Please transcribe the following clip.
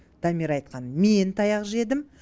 дамир айтқан мен таяқ жедім